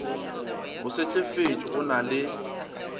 o sehlefetše o na le